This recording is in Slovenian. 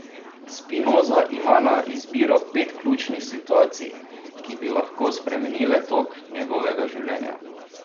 Spinoza ima na izbiro pet ključnih situacij, ki bi lahko spremenile tok njegovega življenja.